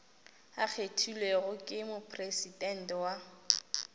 a kgethilwego ke mopresidente wa